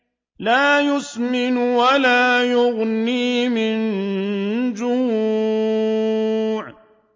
لَّا يُسْمِنُ وَلَا يُغْنِي مِن جُوعٍ